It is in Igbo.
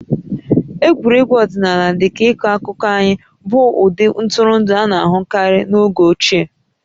Egwuregwu ọdịnala dị ka ịkọ akụkọ anyị bụ ụdị ntụrụndụ a na-ahụkarị n'oge ochieq